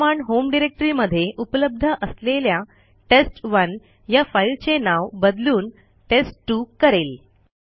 ही command home directory मध्ये उपलब्ध असलेल्या टेस्ट1 या फाईलचे नाव बदलून टेस्ट2 करेल